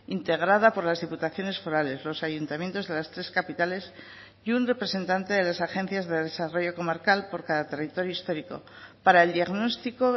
integrada por las diputaciones forales los ayuntamientos de las tres capitales y un representante de las agencias de desarrollo comarcal por cada territorio histórico para el diagnóstico